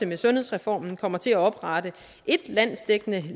med sundhedsreformen jo kommer til at oprette et landsdækkende